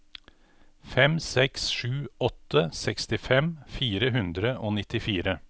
fem seks sju åtte sekstifem fire hundre og nittifire